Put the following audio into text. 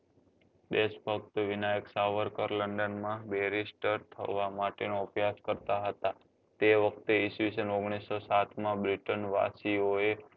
દેશભક્ત Vinayak Savarkar london માં berister થવા માટે નો અભ્યાસ કરતા હતા તે વખતે ઇસવીસન ઓગણીસો સાત માં britain વાસીઓ એ